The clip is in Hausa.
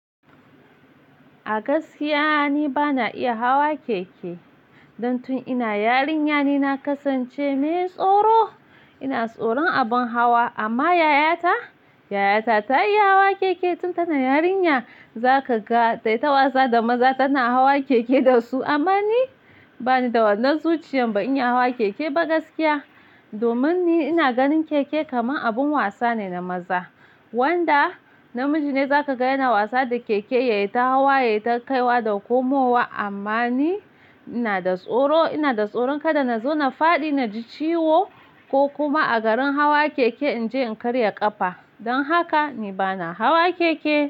A gaskiya ni bana iya hawa keke. Don tun ina yarinya ne na kasance mai tsoro. Ina tsoron abin hawa amma yayata, yayata ta iya hawa keke tun tana yarinya. Zaka ga dai ta wasa da maza tana hawa keke dasu. Amma ni bani da wannan zuciyan ban iya hawa keke ba gaskiya. Domin ni ina ganin keke kamar abin wasa ne na maza. Wanda namiji ne za ka ga yana wasa da keke, ya yi ta hawa, ya yi ta kaiwa da komowa. Amma ni ina da tsoro, ina da tsoron kada na zo na fadi na ji ciwo ko kuma a garin hawa keke in je in karya ƙafa. Don haka ni bana hawa keke.